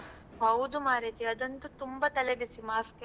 ಹೌದು ಮಾರೈತಿ ಅದಂತು ತುಂಬಾ ತಲೆ ಬಿಸಿ mask ಇಂದು.